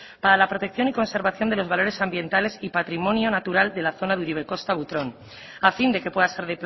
para la protección y conservación de los valores ambientales y patrimonio natural de la zona de uribe kosta butrón a fin de que pueda ser